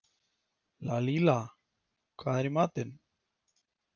Lalíla, hvað er í matinn?